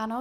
Ano.